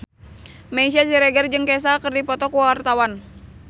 Meisya Siregar jeung Kesha keur dipoto ku wartawan